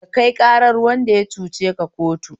Ka kai ƙarar wanda ya cuceka kotu